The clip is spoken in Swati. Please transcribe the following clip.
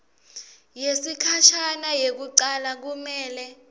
yesikhashana yekucala kumele